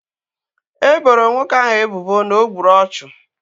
E boro nwoke ahu ebubo na o gburu ọchụ